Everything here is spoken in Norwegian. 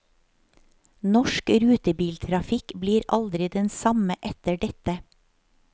Norsk rutebiltrafikk blir aldri den samme etter dette.